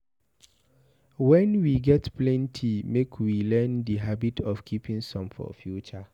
When we get plenty make we learn di habit of keeping some for future